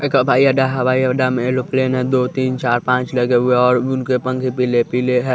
एक हवाई अड्डा हवाई अड्डा में एलोप्लेन है दो तीन चार पांच लगे हुए और उनके पंखे पीले पीले हैं।